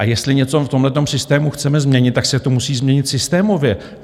A jestli něco v tomto systému chceme změnit, tak se to musí změnit systémově.